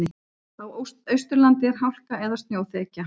Á Austurlandi er hálka eða snjóþekja